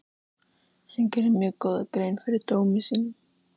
Hann gerði mjög góða grein fyrir dómi sínum.